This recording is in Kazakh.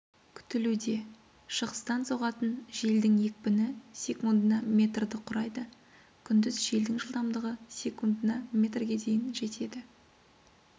күтілуде шығыстан соғатын желдің екпіні секундына метрді құрайды күндіз желдің жылдамдығы секундына метрге дейін жетеді